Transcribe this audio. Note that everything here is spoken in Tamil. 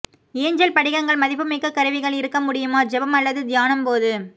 ஏஞ்சல் படிகங்கள் மதிப்புமிக்க கருவிகள் இருக்க முடியுமா ஜெபம் அல்லது தியானம் போது